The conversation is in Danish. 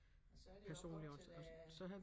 Og så det jo op til det